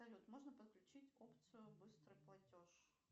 салют можно подключить опцию быстрый платеж